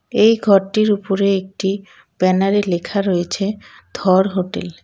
এই ঘরটির উপরে একটি ব্যানারে লেখা রয়েছে ধর হোটেল .